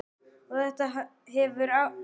Og þetta hefur haft áhrif.